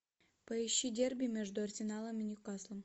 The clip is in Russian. поищи дерби между арсеналом и ньюкаслом